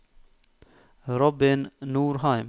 Robin Norheim